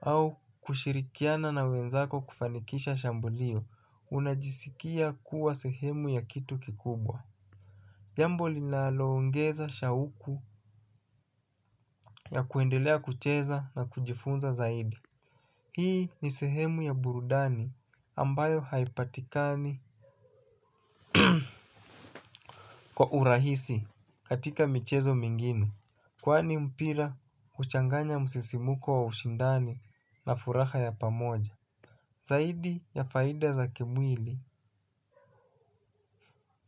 au kushirikiana na wenzako kufanikisha shambulio unajisikia kuwa sehemu ya kitu kubwa. Jambo linaloongeza shauku ya kuendelea kucheza na kujifunza zaidi. Hii ni sehemu ya burudani ambayo haipatikani kwa urahisi katika michezo mengine kwani mpira huchanganya msisimuko wa ushindani na furaha ya pamoja. Zaidi ya faida za kimwili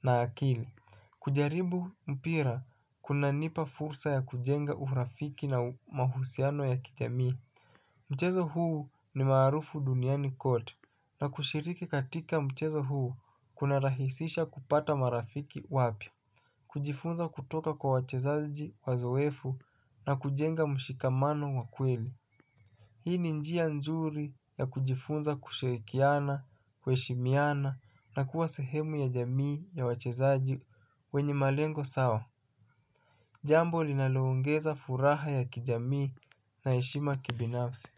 na akili. Kujaribu mpira kuna nipa fursa ya kujenga urafiki na mahusiano ya kijamii. Mchezo huu ni maarufu duniani kwote na kushiriki katika mchezo huu kuna rahisisha kupata marafiki wapya kujifunza kutoka kwa wachezaji wazoefu na kujenga mshikamano wa kweli. Hii ni njia nzuri ya kujifunza kushirikiana, kuheshimiana na kuwa sehemu ya jamii ya wachezaji wenye malengo sawa. Jambo linaloongeza furaha ya kijamii na heshima kibinafsi.